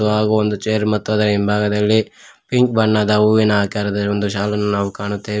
ಹಾಗು ಒಂದು ಚೇರ್ ಮತ್ತು ಅದರ ಹಿಂಭಾಗದಲ್ಲಿ ಪಿಂಕ್ ಬಣ್ಣದ ಹೂವಿನ ಆಕಾರದಲ್ಲಿರುವ ಒಂದು ಶಾಲನ್ನು ನಾವು ಕಾಣುತ್ತೇವೆ.